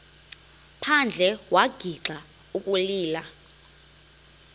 phandle wagixa ukulila